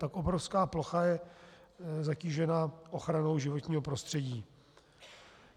Tak obrovská plocha je zatížena ochranou životního prostředí.